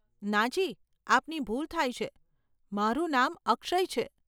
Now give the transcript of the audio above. નાજી, આપની ભૂલ થાય છે, મારું નામ અક્ષય છે.